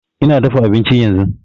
Ina dafa abinci yanzu